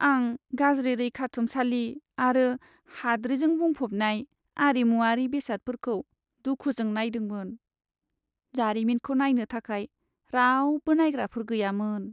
आं गाज्रि रैखाथुमसालि आरो हाद्रिजों बुंफबनाय आरिमुआरि बेसादफोरखौ दुखुजों नायदोंमोन। जारिमिनखौ नायनो थाखाय रावबो नायग्राफोर गैयामोन।